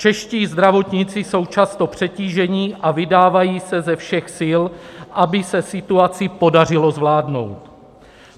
Čeští zdravotníci jsou často přetíženi a vydávají se ze všech sil, aby se situaci podařilo zvládnout.